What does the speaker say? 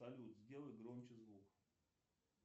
салют сделай громче звук